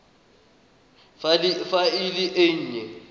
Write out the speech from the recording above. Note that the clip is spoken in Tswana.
fa e le e nnye